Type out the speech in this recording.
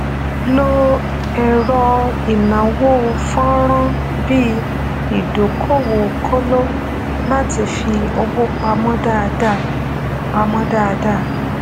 lo ẹrọ ìnáwó fọnrán bí ìdókòwòkóló láti fi owó pamọ dáadáa pamọ dáadáa